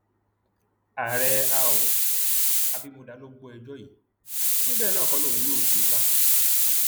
ààrẹ àọ abimodá ló gbọ ẹjọ yìí ó ní bẹẹ náà kọ lòun yóò tú u ká